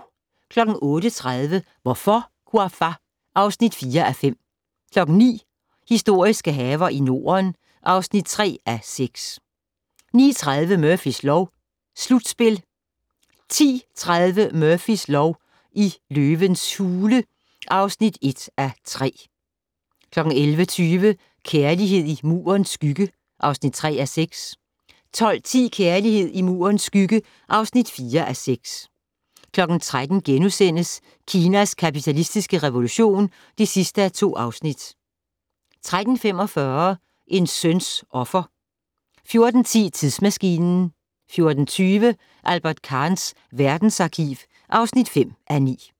08:30: Hvorfor, Ouafa? (4:5) 09:00: Historiske haver i Norden (3:6) 09:30: Murphys lov: Slutspil 10:30: Murphys lov: I løvens hule (1:3) 11:20: Kærlighed i Murens skygge (3:6) 12:10: Kærlighed i Murens skygge (4:6) 13:00: Kinas kapitalistiske revolution (2:2)* 13:45: En søns offer 14:10: Tidsmaskinen 14:20: Albert Kahns verdensarkiv (5:9)